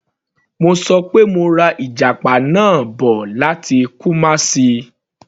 Mo ṣọ pé mo ra ìjàpá náà bọ̀ láti Kumasi.